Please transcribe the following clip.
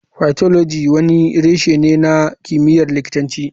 Pathology wani reshe ne na kimiyyar likitanci.